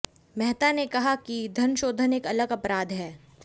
मेहता ने कहा कि धनशोधन एक अलग अपराध है